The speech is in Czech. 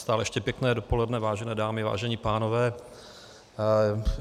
Stále ještě pěkné dopoledne, vážené dámy, vážení pánové.